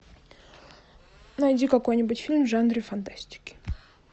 найди какой нибудь фильм в жанре фантастики